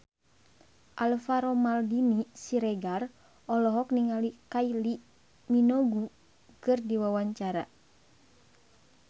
Alvaro Maldini Siregar olohok ningali Kylie Minogue keur diwawancara